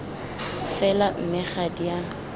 fela mme ga di a